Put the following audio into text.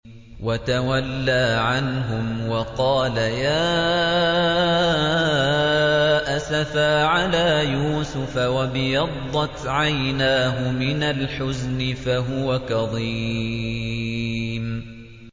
وَتَوَلَّىٰ عَنْهُمْ وَقَالَ يَا أَسَفَىٰ عَلَىٰ يُوسُفَ وَابْيَضَّتْ عَيْنَاهُ مِنَ الْحُزْنِ فَهُوَ كَظِيمٌ